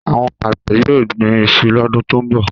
Àwọn àgbẹ̀ yóò gbin iṣu lọ́dún tó ń bọ̀